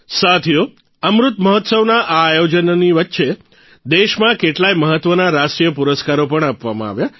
સાથીઓ અમૃત મહોત્સવના આ આયોજનોની વચ્ચે દેશમાં કેટલાયે મહત્વના રાષ્ટ્રીય પુરસ્કારો પણ આપવામાં આવ્યા